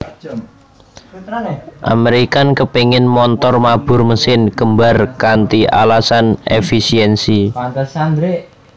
American kepéngin montor mabur mesin kembar kanthi alasan èfisiènsi